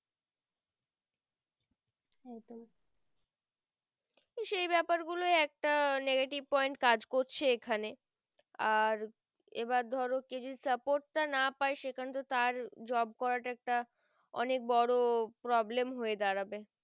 সেই বেপার গুলোই একটা negative point কাজ করছে এখানে আর এই বার ধরো কেউ যদি support তা না পায়ে সেখানে তো তার job করা তা অনেক বোরো problem হয়ে দাঁড়াবে